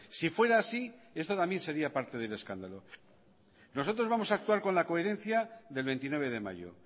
si fuera así esto también sería parte del escándalo nosotros vamos a actuar con la coherencia del veintinueve de mayo